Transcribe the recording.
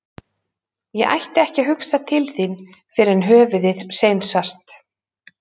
Ég ætti ekki að hugsa til þín fyrr en höfuðið hreinsast.